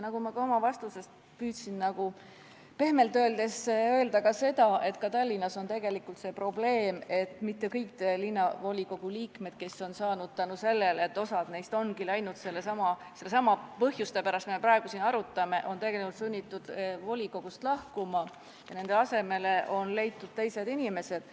Ma oma vastuses püüdsin pehmelt öeldes mainida ka seda, et Tallinnas on tegelikult see probleem, et osa linnavolikogu liikmeid on saanud sinna tänu sellele, et teine osa ongi sellesama põhjuse pärast, mida me praegu siin arutame, olnud sunnitud volikogust lahkuma ja nende asemele on leitud teised inimesed.